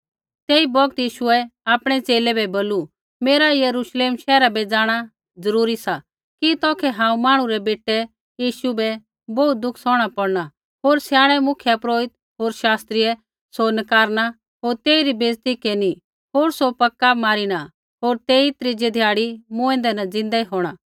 तेई बौगत यीशुऐ आपणै च़ेले बै बोलू मेरा यरूश्लेम शैहरा बै जाँणा ज़रूरी सा कि तौखै हांऊँ मांहणु रै बेटै यीशु बै बोहू दुख सौहणा पौड़ना होर स्याणै मुख्यपुरोहित होर शास्त्रियै सौ नकारना होर तेइरी बेइज़ती केरनी होर सौ पक्का मारिना होर तेई त्रीज़ै ध्याड़ी मूँऐंदै न ज़िन्दै होंणा